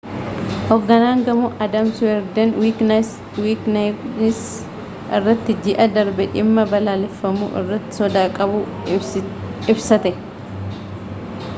hogganaan gamoo adam cuerden wikinews irratti ji'a darbe dhimma balleeffamuu irratti sodaa qabu ibsate